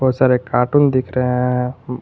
बहुत सारे कार्टून दिख रहे हैं।